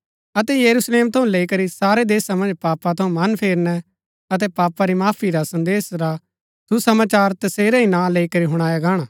अतै यरुशलेम थऊँ लैई करी सारै देशा मन्ज पापा थऊँ मन फेरनै अतै पापा री माफी रा संदेश रा सुसमाचार तसेरै ही नां लैई करी हुणाया गाहणा